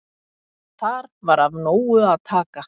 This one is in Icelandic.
Þar var af nógu að taka.